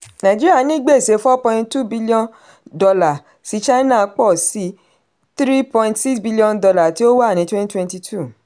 nàìjíríà ní gbèsè four point two billion dollar sí china pọ̀ sí three point six billion dollar tí ó wà ní twenty twenty two.